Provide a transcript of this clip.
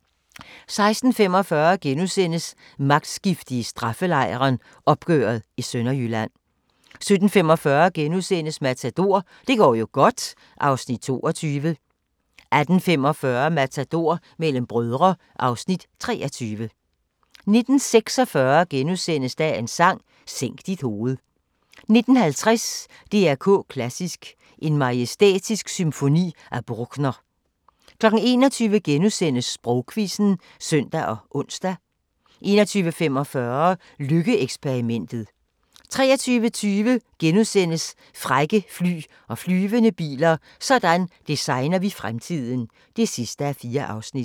* 16:45: Magtskifte i straffelejren – opgøret i Sønderjylland * 17:45: Matador - det går jo godt (Afs. 22)* 18:45: Matador - mellem brødre (Afs. 23) 19:46: Dagens Sang: Sænk dit hoved * 19:50: DR K Klassisk: En majestætisk symfoni af Bruckner 21:00: Sprogquizzen *(søn og ons) 21:45: Lykke-eksperimentet 23:20: Frække fly og flyvende biler – Sådan designer vi fremtiden (4:4)*